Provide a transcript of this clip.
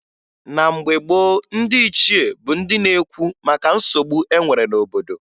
Na mgbe gboo, ndị ichie bụ ndị na-ekwu maka nsogbu e nwere n'obodo